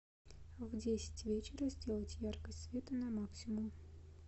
в десять вечера сделать яркость света на максимум